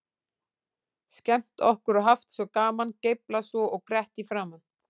Skemmt okkur og haft svo gaman, geiflað svo og grett í framan.